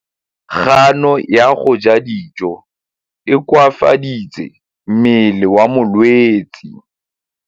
Kganô ya go ja dijo e koafaditse mmele wa molwetse.